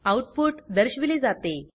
output दर्शविले जाते